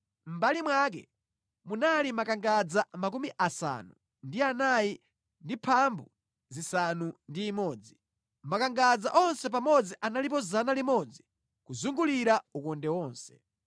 Mʼmbali mwake munali makangadza 96; makangadza onse pamodzi analipo 100 kuzungulira ukonde onse.